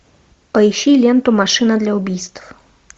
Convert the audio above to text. поищи ленту машина для убийств